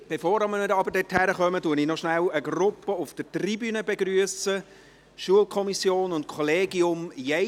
Bevor wir aber dort hinkommen, begrüsse ich noch kurz eine Gruppe auf der Tribüne: Schulkommission und Kollegium Jens.